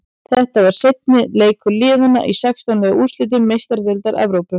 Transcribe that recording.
Þetta var seinni leikur liðana í sextán liða úrslitum Meistaradeildar Evrópu.